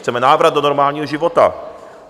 Chceme návrat do normálního života.